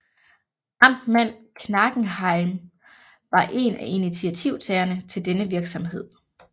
Amtmand Knagenhielm var en af initiativtagerne til denne virksomhed